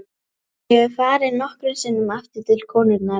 Ég hef farið nokkrum sinnum aftur til konunnar í